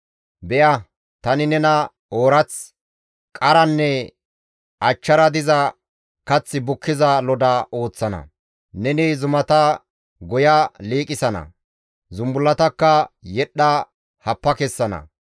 Be7a tani nena oorath, qaranne achchara diza kath bukkiza loda ooththana; neni zumata goya liiqisana; zumbullatakka yedhdha happa kessana.